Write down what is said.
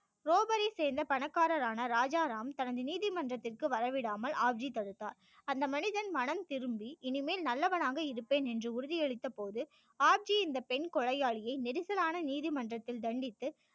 ரோபரை சேர்ந்த பணக்காரர் ஆன ராஜா ராம் தனது நீதிமன்றத்திற்கு வர விடாமல் ஆப் ஜி தடுத்தார் அந்த மனிதன் மனம் திரும்பி இனிமேல் நல்லவனாக இருப்பேன் என்று உறுதி அளித்த போது ஆப் ஜி இந்த பெண் கொலையாளியை நெரிசலான நீதிமன்றத்தில் தண்டித்து